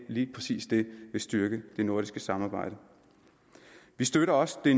lige præcis vil styrke det nordiske samarbejde vi støtter også de